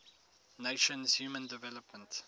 nations human development